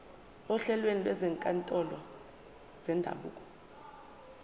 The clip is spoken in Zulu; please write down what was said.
ohlelweni lwezinkantolo zendabuko